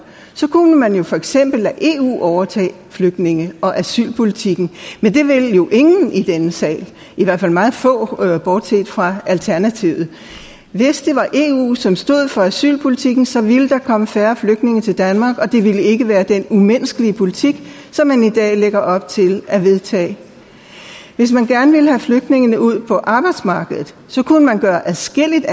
kunne man jo for eksempel lade eu overtage flygtninge og asylpolitikken men det vil ingen i denne sal i hvert fald meget få bortset fra alternativet hvis det var eu som stod for asylpolitikken så ville der komme færre flygtninge til danmark og det ville ikke være den umenneskelige politik som man i dag lægger op til at vedtage hvis man gerne ville have flygtningene ud på arbejdsmarkedet kunne man gøre adskillelige